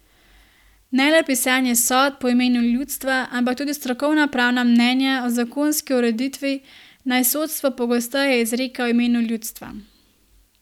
Ne le pisanje sodb v imenu ljudstva, ampak tudi strokovna pravna mnenja o zakonski ureditvi naj sodstvo pogosteje izreka v imenu ljudstva.